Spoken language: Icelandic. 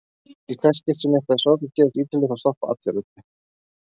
Í hvert skipti sem eitthvað sorglegt gerist á Ítalíu þá stoppa allir öllu.